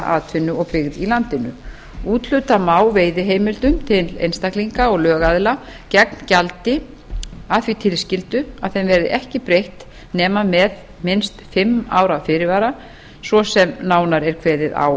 atvinnu og byggð í landinu úthluta má veiðiheimildum til einstaklinga og lögaðila gegn gjaldi að því tilskildu að þeim verði ekki breytt nema með minnst fimm ára fyrirvara svo sem nánar er kveðið á